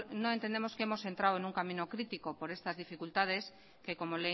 no entendemos que hemos entrado en un camino crítico por estas dificultades que como